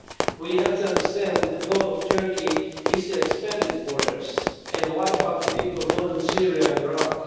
We have to understand that the goal of Turkey is to expand its borders and wipe out the people of northern Syria and Iraq.